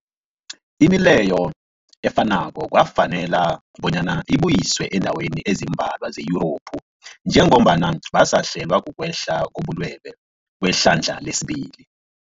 Imileyo efanako kwafanela bonyana ibuyiswe eendaweni ezimbalwa ze-Yurophu njengombana basahlelwa, kukwehla kobulwele kwehlandla lesibili.